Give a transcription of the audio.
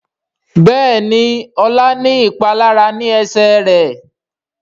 Béèni Ola ní ìpalára ní Ẹsẹ̀ rẹ.